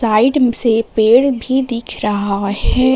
से पेड़ भी दिख रहा है।